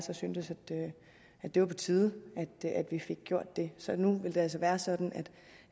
har syntes var på tide vi fik gjort så nu vil det altså være sådan